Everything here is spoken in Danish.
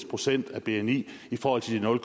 procent af bni i forhold til de nul